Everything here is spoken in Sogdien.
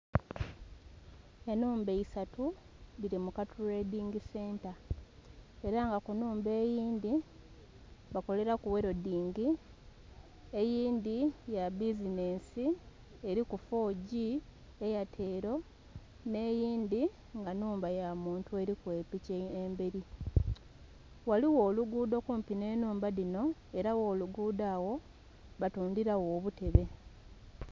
Enhumba isaatu dhili mu katuledhingi senta era nga ku nhumba eyindhi bakolelaku welodingi, eyindhi ya bbizinhensi eriku "4G Airtel" nhe eyindhi nga nhumba ya muntu eriku eliku emberi ghaligho olugudho kumpi nhe nhumba dhinho era gho lugudho agho batundhilagho obutebe.